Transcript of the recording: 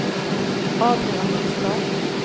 Adrian Nystad